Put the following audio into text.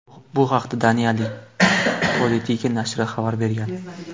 Bu haqda Daniyaning Politiken nashri xabar bergan .